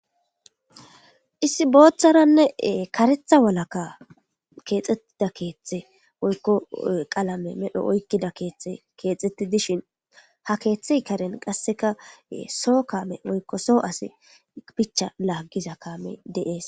Isi booththaranne karetha walakka keexettida keeththe woykko qalame medho oykkida keeththe keexxeti dishin ha keeththey karen qasseka soo kaame woykko soo asi bicha laaggiza kaame deees